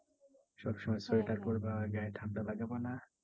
সব সময় সোয়েটার পড়বা গায়ে ঠান্ডা লাগাবা না।